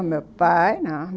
O meu pai, não...